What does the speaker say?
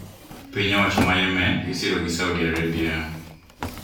Piny owacho ma Yemen ma isiro gi Saudi Arabia